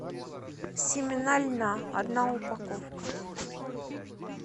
семена льна одна упаковка